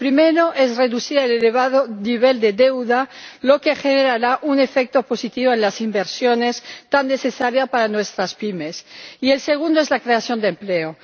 El primero es reducir el elevado nivel de deuda, lo que generará un efecto positivo en las inversiones, tan necesarias para nuestras pymes, y el segundo es la creación de empleo.